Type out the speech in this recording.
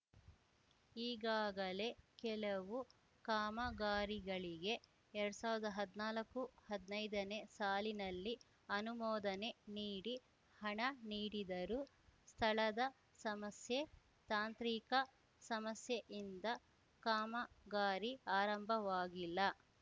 ಈಗಾಗಲೇ ಕೆಲವು ಕಾಮಗಾರಿಗಳಿಗೆ ಎರಡ್ ಸಾವಿರ್ದಾ ಹದ್ನಾಲ್ಕುಹದ್ನೈದನೇ ಸಾಲಿನಲ್ಲಿ ಅನುಮೋದನೆ ನೀಡಿ ಹಣ ನೀಡಿದರೂ ಸ್ಥಳದ ಸಮಸ್ಯೆ ತಾಂತ್ರಿಕ ಸಮಸ್ಯೆಯಿಂದ ಕಾಮಗಾರಿ ಆರಂಭವಾಗಿಲ್ಲ